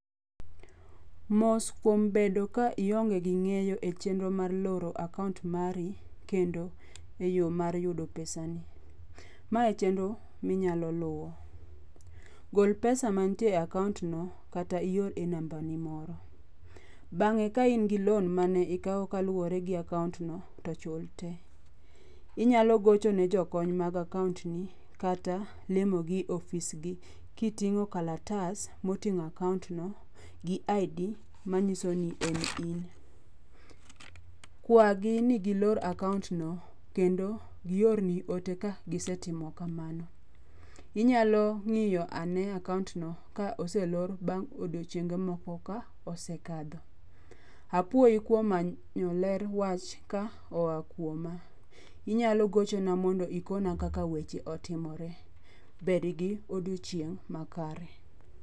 mos kuom bedo ka ionge gi ng'eyo mar loro akaunt mari kendo e yo mar yudo pesani mae e chenro minyalo luwo, gol pesa mantie e akaunt no kata ior e namba ni moro, bang'e ka in gi loan mane ikawo kaluwore gi akaunt no to chul te, inyalo gocho ne jokony mag akaunt ni kata limo gi e office gi ki tingo kalatas moting'o akaunt no gi ID manyiso ni en in, Kwagi ni gilor akaunt no kendo gi or ni ote ka gisetimo kamano, inyalo ng'iyo ane akaunt no ka oselor bang odiochienge moko ka osekalo, apoyi kuom manyo ler wach koa kuoma ,inyalo gochona mondo ikona kaka weche otimore, bed gi odiochieng makare